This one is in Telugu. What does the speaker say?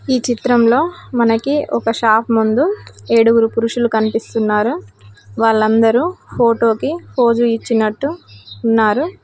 ఈ చిత్రంలో మనకి ఒక షాప్ ముందు ఏడుగురు పురుషులు కనిపిస్తున్నారు వాళ్లందరూ ఫోటోకి ఫోజు ఇచ్చినట్టు ఉన్నారు.